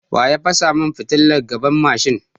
Waya fasa mun fitilan gaban mashin?